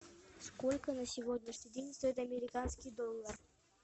сколько на сегодняшний день стоит американский доллар